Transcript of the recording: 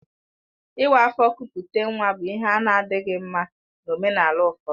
Ịwa afọ kupute nwa bụ ihe a na-adịghị mma na omenala ụfọdụ